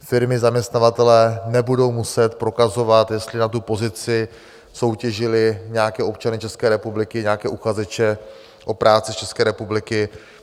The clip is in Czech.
Firmy, zaměstnavatelé nebudou muset prokazovat, jestli na tu pozici soutěžili nějaké občany České republiky, nějaké uchazeče o práci z České republiky.